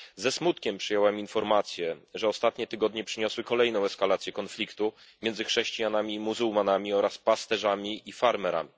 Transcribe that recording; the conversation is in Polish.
Ze smutkiem przyjąłem informację, że ostatnie tygodnie przyniosły kolejną eskalację konfliktu między chrześcijanami i muzułmanami oraz pasterzami i farmerami.